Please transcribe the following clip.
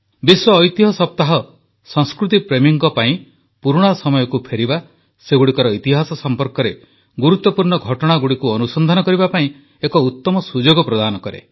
ବିଶ୍ୱ ଐତିହ୍ୟ ସପ୍ତାହ ସଂସ୍କୃତିପ୍ରେମୀଙ୍କ ପାଇଁ ପୁରୁଣା ସମୟକୁ ଫେରିବା ସେଗୁଡ଼ିକର ଇତିହାସ ସମ୍ପର୍କରେ ଗୁରୁତ୍ୱପୂର୍ଣ୍ଣ ଘଟଣାଗୁଡ଼ିକୁ ଅନୁସନ୍ଧାନ କରିବା ପାଇଁ ଏକ ଉତମ ସୁଯୋଗ ପ୍ରଦାନ କରେ